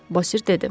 Bosir dedi.